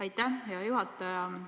Aitäh, hea juhataja!